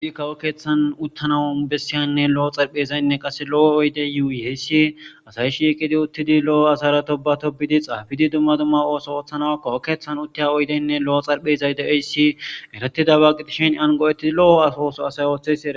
Issi kawo kethani uttanawu bessiyane issi lo'o xariphezayi uttidi lo'o assara tobba tobbidi xafiddi duma duma osso othanawu kawo kethani uttiya oyiddene dizayisi eretidaba.